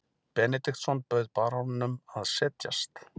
Benediktsson bauð baróninum að setjast.